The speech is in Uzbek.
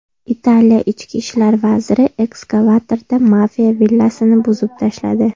Italiya ichki ishlar vaziri ekskavatorda mafiya villasini buzib tashladi.